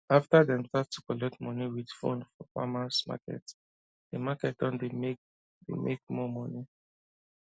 after dem start to collect money with phone for farmers marketthe market don dey make dey make more money